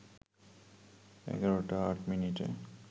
১১টা ৮ মিনিটে